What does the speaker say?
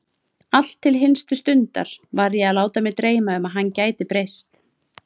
Allt til hinstu stundar var ég að láta mig dreyma um að hann gæti breyst.